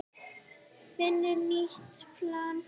Finna nýtt plan.